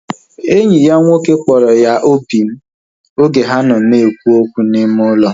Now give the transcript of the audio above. Enyi ya nwoke kpọrọ ya obim oge ha na ekwu okwu n'ime ụlọ